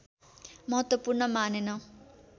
महत्त्वपूर्ण मानेन